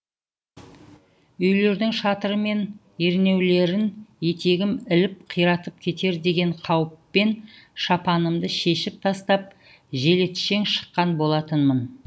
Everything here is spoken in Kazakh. үйлердің шатыры мен ернеулерін етегім іліп қиратып кетер деген қауіппен шапанымды шешіп тастап желетшең шыққан болатынмын